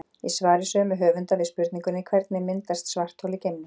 Í svari sömu höfunda við spurningunni Hvernig myndast svarthol í geimnum?